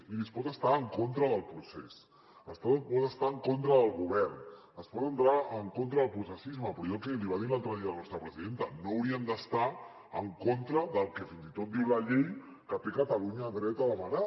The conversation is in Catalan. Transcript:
miri es pot estar en contra del procés es pot estar en contra del govern es pot estar en contra del processisme però allò que li va dir l’altre dia la nostra presidenta no haurien d’estar en contra del fins i tot diu la llei que té catalunya dret a demanar